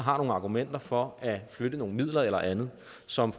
argumenter for at flytte nogle midler eller andet som